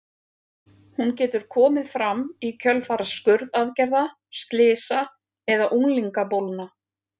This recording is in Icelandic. Hún getur komið fram í kjölfar skurðaðgerða, slysa eða unglingabólna.